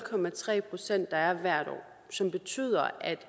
procent hvert år som betyder at